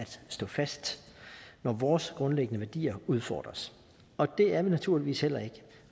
stå fast når vores grundlæggende værdier udfordres og det er vi naturligvis heller ikke